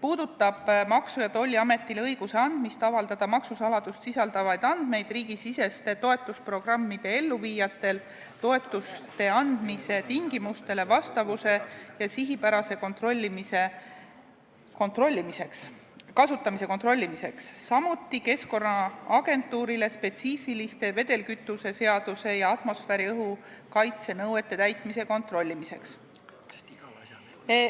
puudutab Maksu- ja Tolliametile õiguse andmist avaldada maksusaladust sisaldavaid andmeid riigisiseste toetusprogrammide elluviijatele toetuste andmise tingimustele vastavuse ja sihipärase kasutamise kontrollimiseks, samuti Keskkonnaagentuurile spetsiifiliste vedelkütuse seaduse ja atmosfääriõhu kaitse nõuete täitmise kontrollimiseks.